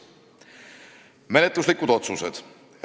Menetluslikud otsused olid järgmised.